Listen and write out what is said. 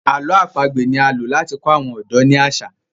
àlọ́ àpagbè ní a ló láti kọ àwọn ọdọ ní aṣa